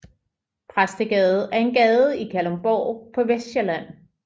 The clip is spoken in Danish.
Præstegade er en gade i Kalundborg på Vestsjælland